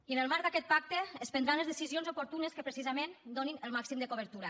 i en el marc d’aquest pacte es prendran les decisions oportunes que precisament donin el màxim de cobertura